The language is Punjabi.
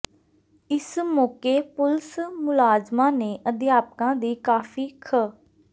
ਇਸ ਮੌਕੇ ਪੁਲਸ ਮੁਲਾਜ਼ਮਾਂ ਨੇ ਅਧਿਆਪਕਾਂ ਦੀ ਕਾਫੀ ਖ